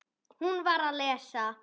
Hún var að lesa